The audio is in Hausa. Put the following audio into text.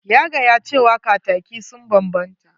Ya gaya cewa kataki sun banbanta.